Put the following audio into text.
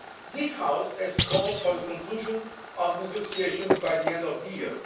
Ukraine. This House has called for the conclusion of the negotiations by the end of the